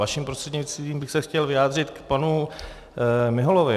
Vaším prostřednictvím bych se chtěl vyjádřit k panu Miholovi.